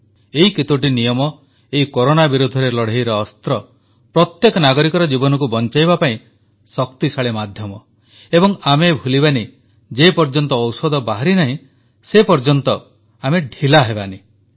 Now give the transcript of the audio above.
ଏହି କେତୋଟି ନିୟମ ଏଇ କରୋନା ବିରୋଧରେ ଲଢ଼େଇର ଅସ୍ତ୍ର ପ୍ରତ୍ୟେକ ନାଗରିକର ଜୀବନକୁ ବଞ୍ଚାଇବା ପାଇଁ ଶକ୍ତିଶାଳୀ ମାଧ୍ୟମ ଏବଂ ଆଉ ଆମେ ଭୁଲିଯିବାନି ଯେପର୍ଯ୍ୟନ୍ତ ଔଷଧ ବାହାରି ନାହିଁ ସେପର୍ଯ୍ୟନ୍ତ ଆମେ ଢିଲା ହେବାନାହିଁ